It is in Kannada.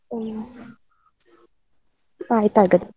ಹ್ಮ್, ಆಯ್ತ್ ಆಗದ್ರೆ.